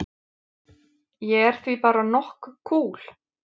Ég er því bara nokk kúl.